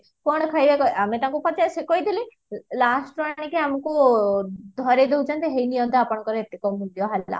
କଣ ଖାଇବେ ଆମେ ତାଙ୍କୁ କହିଥିଲେ lastରୁ ଆଣିକି ଆମକୁ ଧରେଇ ଦଉଚନ୍ତି ହେଇ ନିଅନ୍ତୁ ଆପଣଙ୍କର ମୂଲ୍ୟ ହେଲା